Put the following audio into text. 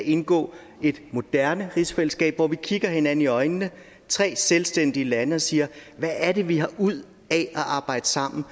indgå i et moderne rigsfællesskab hvor vi kigger hinanden i øjnene tre selvstændige lande og siger hvad er det vi har ud af at arbejde sammen